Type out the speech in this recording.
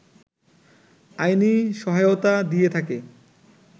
আইনি সহায়তা দিয়ে থাকে